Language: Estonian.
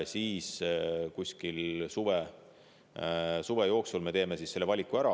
Siis suve jooksul me teeme valiku ära.